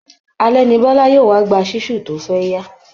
Alẹ ni Biọ́lá yóò wá gba ṣísù tí ó fẹ́yá